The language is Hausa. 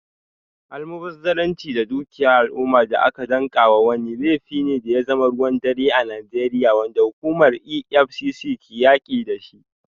Almubazzaranci da dukiyar al’umma da aka danka wa wani, laifi ne da ya zama ruwan dare a Najeriya, wanda hukumar EFCC ke yaki da shi.